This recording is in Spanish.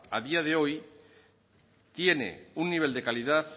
a día de hoy tiene un nivel de calidad